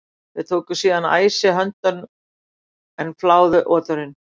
Þeir tóku síðan æsi höndum en fláðu oturinn.